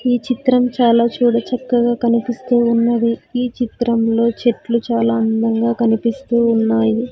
ఈ చిత్రం చాలా చూడ చక్కగా కనిపిస్తూ ఉన్నది ఈ చిత్రంలో చెట్లు చాలా అందంగా కనిపిస్తూ ఉన్నాయి.